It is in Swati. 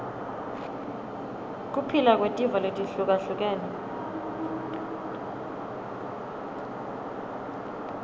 kuphila kwetive letihlukahlukene